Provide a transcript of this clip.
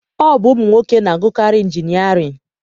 Ọ bụ ụmụnwoke na-agụkarị injinịarịn